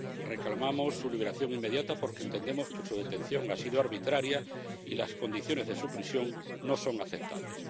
Reclamamos su liberación inmediata porque entendemos que su detención ha sido arbitraria y las condiciones de su prisión no son aceptables.